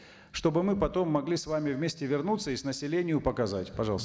чтобы мы потом могли с вами вместе вернуться и с населению показать пожалуста